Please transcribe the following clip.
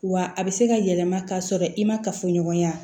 Wa a bɛ se ka yɛlɛma ka sɔrɔ i ma kafoɲɔgɔnya